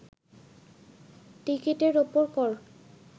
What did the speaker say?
টিকিটের ওপর কর